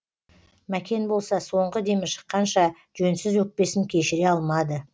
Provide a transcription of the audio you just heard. мәкен болса соңғы демі шыққанша жөнсіз өкпесін кешіре алмады